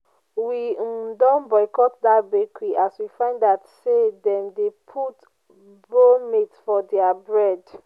we um don boycott dat bakery as we find out sey dem dey put bromate for their bread.